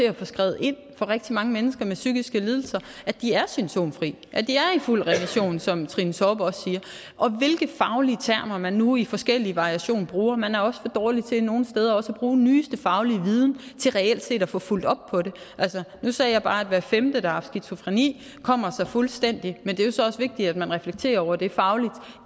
at skrive ind for rigtig mange mennesker med psykiske lidelser at de er symptomfri at de er i fuld remission som trine torp også siger og hvilke faglige termer man nu i forskellige variationer bruger man er også for dårlige til nogle steder også at bruge den nyeste faglige viden til reelt set at få fulgt op på det altså nu sagde jeg bare at hver femte der har haft skizofreni kommer sig fuldstændig men det er jo så også vigtigt at man reflekterer over det fagligt